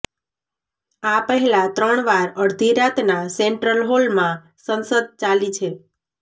આ પહેલા ત્રણ વાર અડધી રાતના સેન્ટ્રલ હોલમાં સંસદ ચાલી છે